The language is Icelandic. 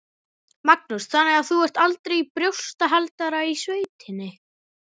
Magnús: Þannig að þú ert aldrei í brjóstahaldara í sveitinni?